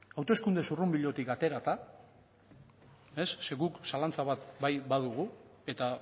hauteskunde zurrunbilotik aterata zeren guk zalantza bat bai badugu eta